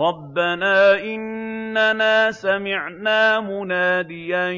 رَّبَّنَا إِنَّنَا سَمِعْنَا مُنَادِيًا